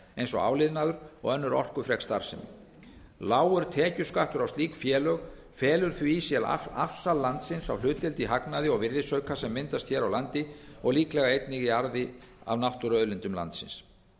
eins og áliðnaður og önnur orkufrek starfsemi lágur tekjuskattur á slík félög felur því í sér afsal landsins á hlutdeild í hagnaði og virðisauka sem myndast hér á landi og líklega einnig í arði af náttúruauðlindum landsins